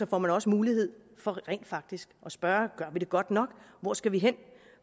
får man også mulighed for rent faktisk at spørge gør vi det godt nok og hvor skal vi hen